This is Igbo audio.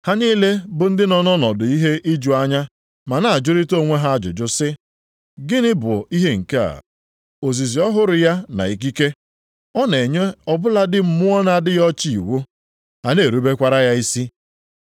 Ha niile bụ ndị nọ nʼọnọdụ ihe iju anya ma na-ajụrịtara onwe ha ajụjụ sị, “Gịnị bụ nke a? Ozizi ọhụrụ ya na ikike! Ọ na-enye ọ bụladị mmụọ na-adịghị ọcha iwu. Ha na-erubekwara ya isi.”